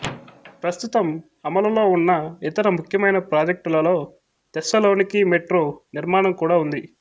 ప్రస్తుతం అమలులో ఉన్న ఇతర ముఖ్యమైన ప్రాజెక్టులలో థెస్సలోనికీ మెట్రో నిర్మాణం కూడా ఉంది